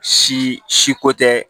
Si si ko tɛ